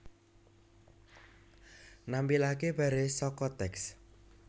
Nampilaké baris saka teks